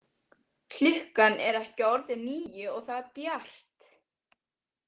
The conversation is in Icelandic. Klukkan er ekki orðin níu og það er bjart.